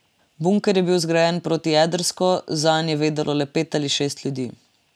Bunker je bil zgrajen protijedrsko, zanj je vedelo le pet ali šest ljudi.